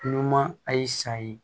Numan a y'i sa ye